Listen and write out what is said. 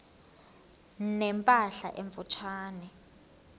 ne mpahla emfutshane